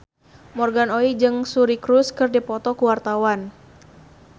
Morgan Oey jeung Suri Cruise keur dipoto ku wartawan